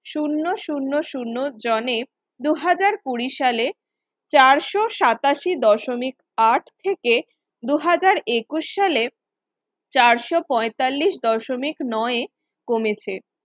শুন্য শুন্য শুন্য জনে দুহাজার কুড়ি সালে চারশো সাতাশি দশমিক আট থেকে দুহাজার একুশ সালে চারশো পয়তাল্লিশ দশমিক নয়ে কমেছে।